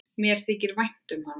Mér þykir vænt um hana.